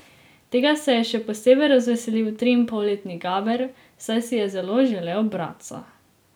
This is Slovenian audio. Tega se je še posebej razveselil triinpolletni Gaber, saj si je zelo želel bratca.